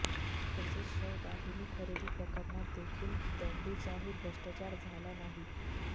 तसेच शवदाहिनी खरेदी प्रकरणात देखील दमडीचाही भ्रष्टाचार झाला नाही